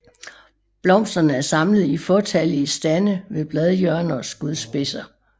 Blomsterne er samlet i fåtallige stande ved bladhjørner og skudspidser